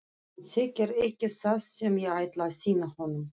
Hann þekkir ekki það sem ég ætla að sýna honum.